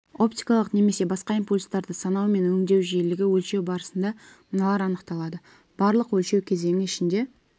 оптикалық немесе басқа импульстарды санау мен өңдеу жиілігі өлшеу барысында мыналар анықталады барлық өлшеу кезеңі ішінде